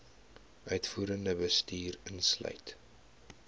uitvoerende bestuur insluit